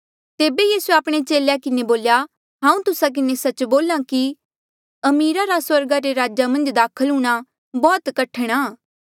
तेबे यीसूए आपणे चेले किन्हें बोल्या हांऊँ तुस्सा किन्हें सच्च बोल्हा कि अमीरा रा स्वर्गा रे राजा मन्झ दाखल हूंणां बौह्त कठण आ